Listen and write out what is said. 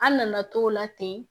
An nana t'o la ten